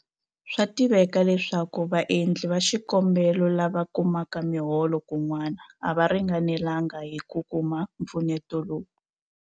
Swa tiveka leswaku vaendli va xikombelo lava kumaka miholo kun'wana a va ringanelanga hi ku kuma mpfuneto lowu.